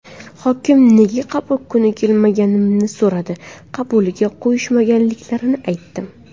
Hokim nega qabul kuni kelmaganimni so‘radi, qabuliga qo‘yishmaganliklarini aytdim.